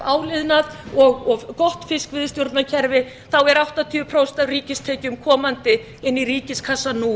áliðnað og gott fiskveiðistjórnarkerfi þá er áttatíu prósent af ríkistekjum komandi inn í ríkiskassann nú